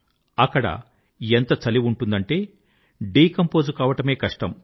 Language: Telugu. అక్కడ ఎంత చలి ఉంటుందంటే డీకంపోజ్ కావడమే కష్టం